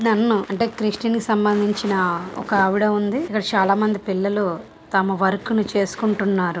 నన్నుఅంటే Christian కి సంబందించిన ఒకావిడ ఉంది. ఇక్కడ చాలా మంది పిల్లలూ తమ వర్కును చేసుకుంటున్నారు.